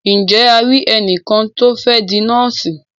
Ǹje a ri ẹnìkan tí o fẹ́ di nọ́ọ̀sì?